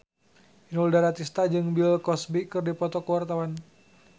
Inul Daratista jeung Bill Cosby keur dipoto ku wartawan